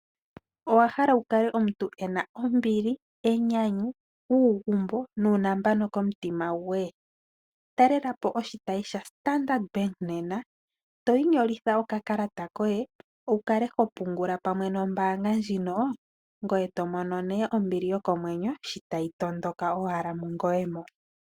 Owa hala omuntu wu kale omuntu ena ombili, enyanyu, uugumbo nuunambano komutima gwe. Talela po oshitayi sha Standard Bank nena to inyolitha okakalata koye wu kale ho pungula pamwe nombaanga ndjino. Ngoye to mono nee ombili yokomwenyo sho tayi tondoka mungoye mo.